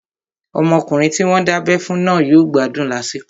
Ọmọkùnrin tí wọ́n dábẹ́ fún náà yóò gbádùn lásìkò